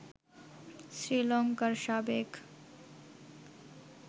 শ্রীলঙ্কার সাবেক